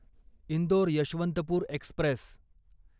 Indore Yesvantpur Express